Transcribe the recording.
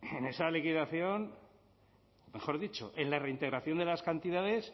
en esa liquidación mejor dicho en la reintegración de las cantidades